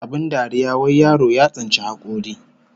Abin dariya wai yaro ya tsinci hakori